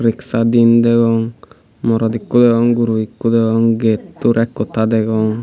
riksa din degong morot ikko deyong guro deyong gettor ek hotta deyong.